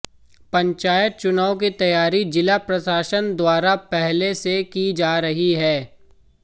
पंचायत चुनाव की तैयारी जिला प्रशासन द्वारा पहले से की जा रही है